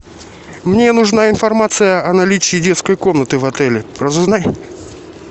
мне нужна информация о наличии детской комнаты в отеле разузнай